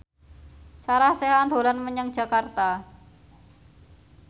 Sarah Sechan dolan menyang Jakarta